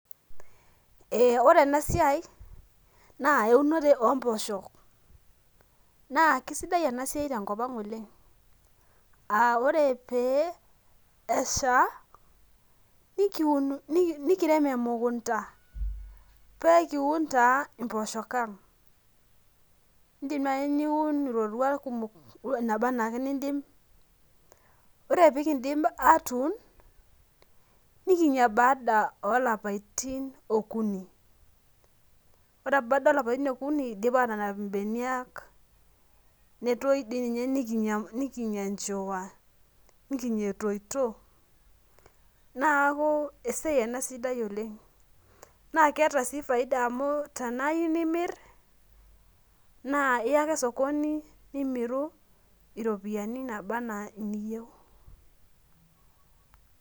Ore ena siai naa eunore omposhok ,keisidai ena siai tenkopang oleng ,ore pee esha nikirem emukunta paa ekiun taa mpooshok ang ,indim naaji nuin roruat kumok naaba ake enaa nindim. ore pee kindip aatun nikinya baadae olapitin okuni ,ore baada olapitin okuni eidipa atanap imbenia netoyu doi ninye nikinya enjiwa ,nikinya etoito neeku esiai ena sidai oleng ,naa keeta sii faida amu tena iyieu nimir naa iya ake sokoni nimiru ropiyiani naaba enaa niyieu.